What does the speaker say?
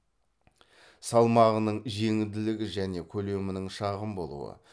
салмағының жеңілдігі және көлемінің шағын болуы